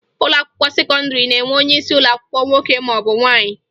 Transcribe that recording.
Ụlọakwụkwọ sekọndịrị na-enwe onyeisi ụlọakwụkwọ nwoke maọbụ nwaanyị